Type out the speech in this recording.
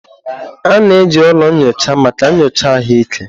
A na-eji ụlọ nyocha maka nyocha ahụike.